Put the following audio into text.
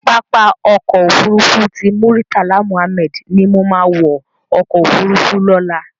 Pàápá Òkò Ófúrúfú ti Múritálá Múhámèd ni mó má wò òkò ófúrúfú lòlá